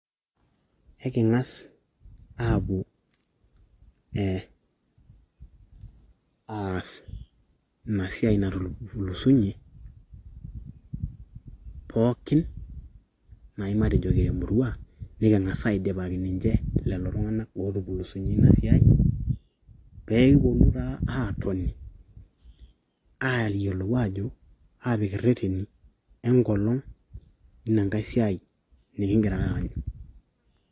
Eking'as aapuo aas ina siai natupulusunyie pookin naai matejo emurua niking'a aidipaki lelo tung'anak ootupulusinyie ina siai peekiponu taa aatoni aayiolou aajo aapik ireteni enkolong inankae siiai nikingiraa aanyu.